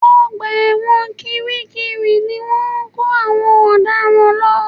Ọgbà ẹ̀wọ̀n kiri kiri ni wọ́n ń kó àwọn ọ̀daràn lọ